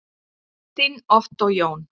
Þinn Ottó Jón.